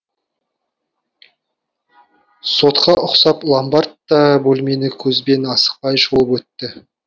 сотқа ұқсап ломбард та бөлмені көзбен асықпай шолып өтті